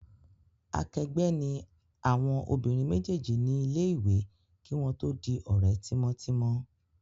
Akẹgbẹ́ ni àwon obìnrin méjèjì nílé ìwé kí wón tó di òrẹ́ tímótímó